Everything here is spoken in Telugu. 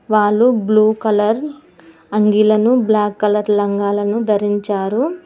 వాళ్లు బ్లూ కలర్ అంగీలను బ్లాక్ కలర్ లంగా లను ధరించారు.